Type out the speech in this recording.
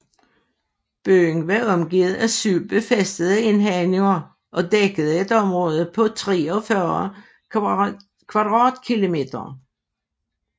Byen var omgivet af syv befæstede indhegninger og dækkede et område på 43 km²